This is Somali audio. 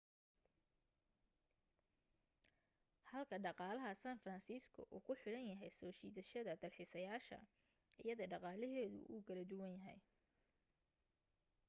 halka dhaqaalaha san francisco uu ku xiran yahay soo jiidashada dalxiisayaasha iyada dhaqaaleheedu wuu kala duwan yahay